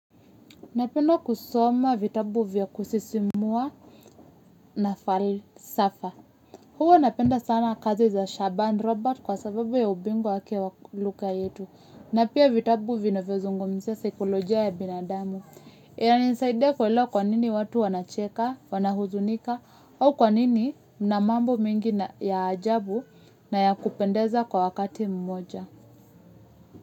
Napenda kusoma vitabu vya kusisimua na falsafa. Huwa napenda sana kazi za Shaban Robert kwa sababu ya ubingwa wake wa kilugha yetu. Na pia vitabu vinavyo zungumzia siklojia ya binadamu. Ina nisaidia kuelewa kwa nini watu wanacheka, wana huzunika, au kwa nini mna mambo mingi ya ajabu naya kupendeza kwa wakati mmoja.